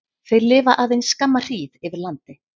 Þeir lifa aðeins skamma hríð yfir landi.